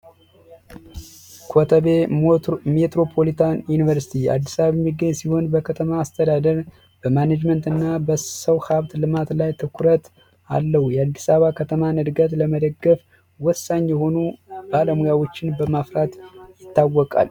ኮተቤ ሜትሮፖሎጂ ዩኒቨርስቲ አዲስ አበባ ሲሆን በከተማ አስተዳደግ በማኔጅመንት እና በሰው ሀብት ልማት ላይ ትኩረት አለው የአዲስ አበባ ከተማ እድገት ለመደገፍ ወሳኝ የሆኑ ዓለሙያዎችን በማፍራት ይገኛል